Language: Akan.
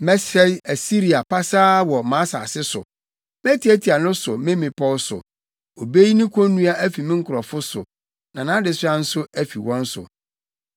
Mɛsɛe Asiria pasaa wɔ mʼasase so; metiatia no so me mmepɔw so. Obeyi ne konnua afi me nkurɔfo so, na nʼadesoa nso afi wɔn so.”